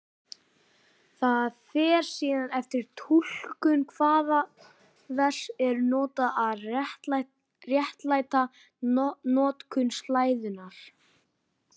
Það fer síðan eftir túlkun hvaða vers eru notuð að réttlæta notkun slæðunnar.